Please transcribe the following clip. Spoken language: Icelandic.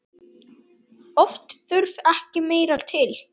Oft þurfti ekki meira til.